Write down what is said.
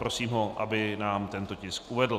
Prosím ho, aby nám tento tisk uvedl.